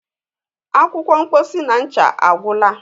akwụkwọ mposi na ncha agwụla